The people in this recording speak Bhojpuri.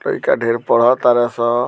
लइका ढेर पड़ तारे सन।